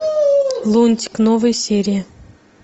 лунтик новые серии